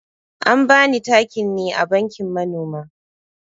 An bani takin ne a bankin manoma.